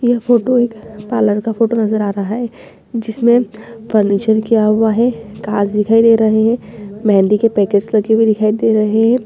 यह फोटो एक पार्लर का फोटो नजर आ रहा है जिसमें फर्नीचर किया हुआ है कांच दिखाई दे रहे है मेंहदी के पैकेट्स लगे दिखाई रहे हैं।